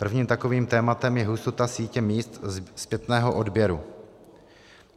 Prvním takovým tématem je hustota sítě míst zpětného odběru.